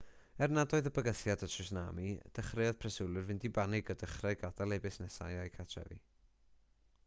er nad oedd bygythiad o tswnami dechreuodd preswylwyr fynd i banig a dechrau gadael eu busnesau a'u cartrefi